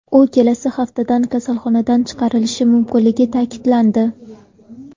U kelasi haftada kasalxonadan chiqarilishi mumkinligi ta’kidlandi.